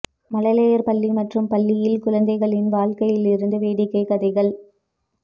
மழலையர் பள்ளி மற்றும் பள்ளியில் குழந்தைகளின் வாழ்க்கைத் இருந்து வேடிக்கை கதைகள்